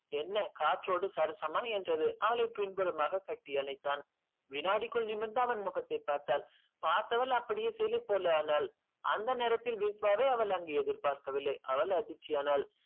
என்ன காற்றோடு என்றது அவளை பின்புறமாக கட்டியணைத்தான் வினாடிக்குள் நிமிர்ந்து அவன் முகத்தை பார்த்தாள் பார்த்தவள் சிலை போல் ஆனால் அந்த நேரத்தில் விஷவாவை அவள் அங்கு எதிர் பார்க்கவில்லை அவள் அதிர்ச்சி ஆனால்